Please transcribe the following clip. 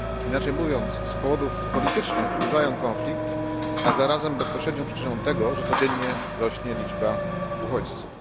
Inaczej mówiąc, z powodów politycznych przedłużają konflikt, a zarazem bezpośrednią przyczynę tego, że codziennie rośnie liczba uchodźców.